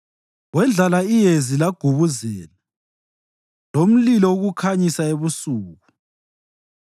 Wendlala iyezi lagubuzela, lomlilo ukukhanyisa ebusuku.